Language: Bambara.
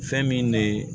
Fɛn min de ye